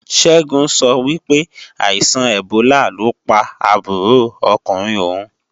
Ṣẹ́gun sọ wípé, àìsàn ẹ̀bólà ló pa àbúrò ọkùnrin òun